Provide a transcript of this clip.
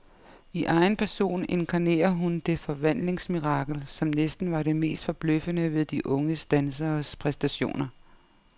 I egen person inkarnerer hun det forvandlingsmirakel, som næsten var det mest forbløffende ved de unge danseres præstationer.